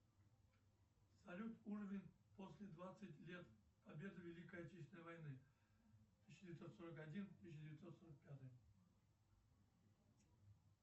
салют уровень после двадцать лет победы великой отечественной войны тысяча девятьсот сорок один тысяча девятьсот сорок пятый